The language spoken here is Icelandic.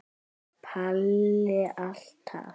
Palli alltaf.